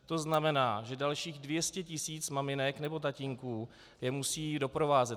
To znamená, že dalších 200 tisíc maminek nebo tatínků je musí doprovázet.